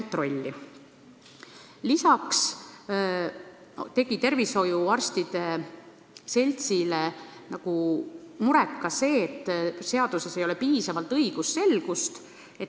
Peale selle tegi töötervishoiuarstide seltsile muret see, et seaduses ei ole piisavalt õigusselgust.